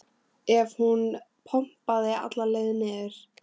ef hún pompaði alla leið niður.